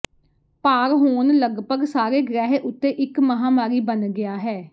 ਭਾਰ ਹੋਣ ਲਗਭਗ ਸਾਰੇ ਗ੍ਰਹਿ ਉੱਤੇ ਇੱਕ ਮਹਾਮਾਰੀ ਬਣ ਗਿਆ ਹੈ